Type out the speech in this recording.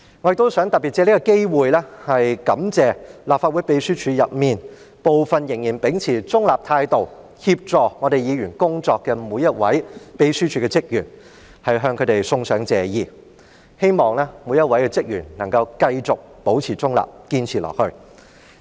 我亦想特別藉此機會向立法會秘書處內，部分仍然秉持中立態度協助議員工作的每一位秘書處職員，送上謝意，我希望他們每一位都能夠繼續保持中立，堅持下去。